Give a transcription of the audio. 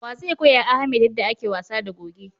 Wa zai koyawa Ahmed yadda ake wasa da goge?